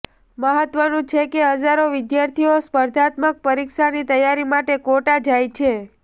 મહત્વનુ છે કે હજારો વિદ્યાર્થીઓ સ્પર્ધાત્મક પરીક્ષાની તૈયારી માટે કોટા જાય છે